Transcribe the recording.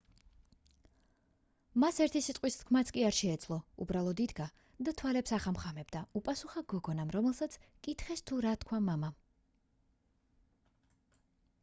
მას ერთი სიტყვის თქმაც კი არ შეეძლო უბრალოდ იდგა და თვალებს ახამხამებდა უპასუხა გოგონამ როდესაც კითხეს თუ რა თქვა მამამ